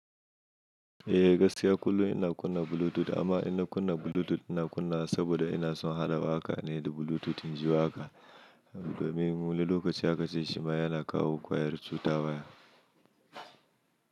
Eh gaskiya kullum ina kunna Bluetooth amma ina kunna Bluetooth ina kunna saboda ina son haɗawa waƙa ne da Bluetooth inji haka. Domin wani lokaci akace shima yana kawo ƙwayar cuta waya.